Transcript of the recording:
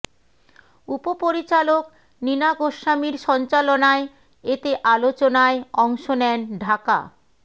উপপরিচালক নিনা গোস্বামীর সঞ্চালনায় এতে আলোচনায় অংশ নেন ঢাকা